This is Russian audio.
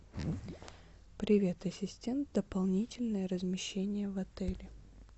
привет ассистент дополнительное размещение в отеле